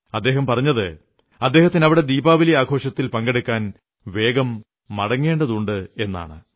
അദ്ദേഹം പറഞ്ഞത് അദ്ദേഹത്തിന് അവിടെ ദീപാവലി ആഘോഷത്തിൽ പങ്കെടുക്കാൻ വേഗം മടങ്ങേണ്ടതുണ്ടെന്നാണ്